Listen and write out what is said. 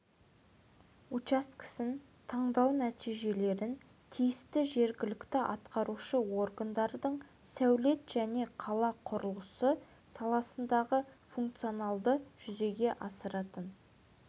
учаскесін таңдау нәтижелерін тиісті жергілікті атқарушы органдардың сәулет және қала құрылысы саласындағы функцияларды жүзеге асыратын